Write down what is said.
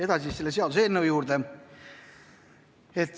Edasi selle seaduseelnõu juurde.